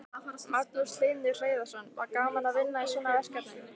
Magnús Hlynur Hreiðarsson: Var gaman að vinna í svona verkefni?